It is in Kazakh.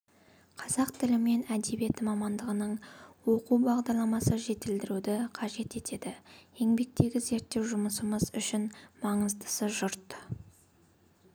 қазақ тілі мен әдебиеті мамандығының оқу бағдарламасы жетілдіруді қажет етеді еңбектегі зерттеу жұмысымыз үшін маңыздысы жұрт